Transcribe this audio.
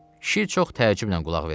Kişi çox təəccüblə qulaq verirdi.